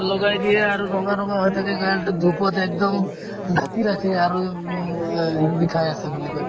লগাই দিয়া আৰু ৰঙা ৰঙা হয় তেতিয়া তাৰপিছত dhup ত একদম ঢাকি ৰাখে আৰু উম এ বিষাই আছে বুলি কই